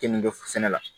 Keninke sɛnɛ la